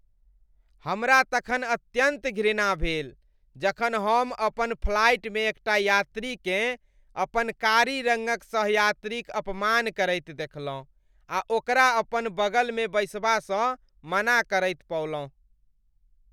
हमरा तखन अत्यन्त घृणा भेल जखन हम अपन फ्लाइटमे एकटा यात्रीकेँ अपन कारी रङ्गक सह यात्रीक अपमान करैत देखलहुँ आ ओकरा अपन बगलमे बैसबासँ मना करैत पौलहुँ।